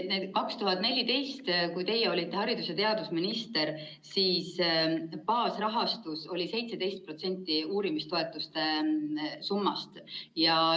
Tõesti, 2014, kui teie olite haridus‑ ja teadusminister, siis baasrahastus oli 17% uurimistoetuste summast.